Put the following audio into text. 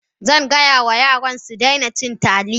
Zan gaya wa yarana su daina cin Taliya